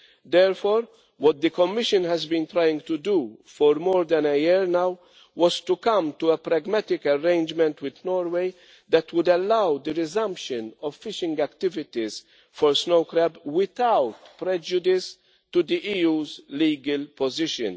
Therefore, what the Commission has been trying to do for more than a year now is to come to a pragmatic arrangement with Norway that would allow the resumption of fishing activities for snow crab without prejudice to the EU's legal position.